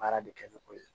Baara de kɛ ni o ye